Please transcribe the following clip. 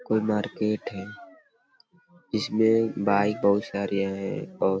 कोई मार्केट है इसमे बाइक बहुत सारी है और --